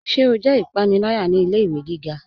Ṣé o jẹ ipanilaya ni ilẹ̀-iwe gíga?